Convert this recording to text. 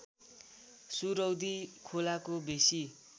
सुरौदी खोलाको बेसी